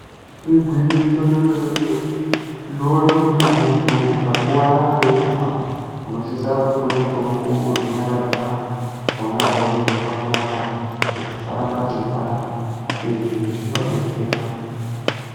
Igwinyiso remene mene kuona kuti muntu akuwara nekurumba anokona kupuwa mutombo wekunyaradza panorwadza Kuti pasaramba peipanda izvi zvinodetsera.